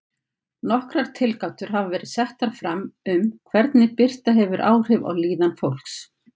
Nokkrar tilgátur hafa verið settar fram um hvernig birta hefur áhrif á líðan fólks.